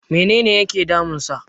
menene yake damunsa?